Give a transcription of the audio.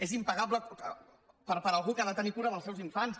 és impagable per algú que ha de tenir cura dels seus infants